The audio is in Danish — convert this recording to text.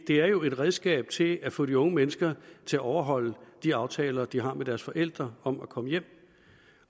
det er jo et redskab til at få de unge mennesker til at overholde de aftaler de har med deres forældre om at komme hjem